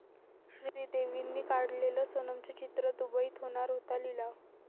श्रीदेवींनी काढलेलं सोनमचं चित्र, दुबईत होणार होता लिलाव